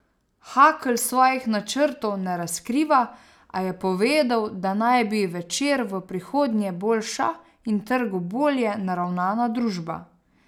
Hakl svojih načrtov ne razkriva, a je povedal, da naj bi bil Večer v prihodnje boljša in trgu bolje naravnana družba.